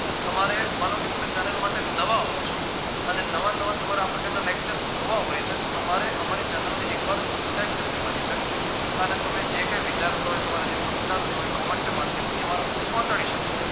તમારે માનો કે તમે channel માટે નવા હોવ છો અને નવા નવા તમારે આ પ્રકારના lectures જોવા હોય છે તો તમારે અમારી channel ને એક વાર subscribe કરી દેવાની છે અને તમે જે કઈ વિચારતા હોવ તમારે જે પ્રતિસાદ દેવો હોય તે comment ના માધ્યમથી અમારા સુધી પોહચાડી શકો.